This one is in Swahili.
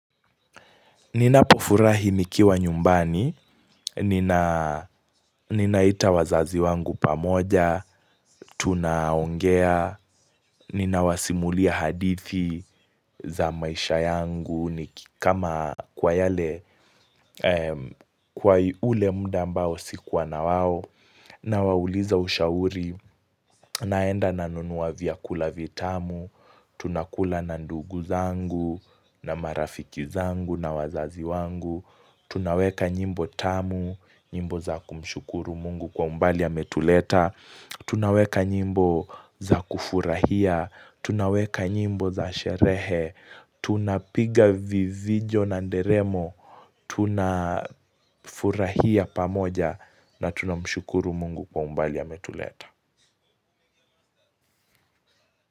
Ninapofurahi nikiwa nyumbani, ninaita wazazi wangu pamoja, tunaongea, ninawasimulia hadithi za maisha yangu, kwa ule mda ambao sikuwa na wao, nawauliza ushauri, naenda na nunua vyakula vitamu, tunakula na ndugu zangu, na marafiki zangu, na wazazi wangu. Tunaweka nyimbo tamu, nyimbo za kumshukuru mungu kwa umbali ametuleta tunaweka nyimbo za kufurahia, tunaweka nyimbo za sherehe Tunapiga vivijo na nderemo, tuna furahia pamoja na tunamshukuru mungu kwa umbali ametuleta.